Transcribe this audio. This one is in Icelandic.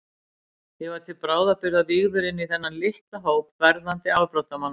Ég var til bráðabirgða vígður inní þennan litla hóp verðandi afbrotamanna.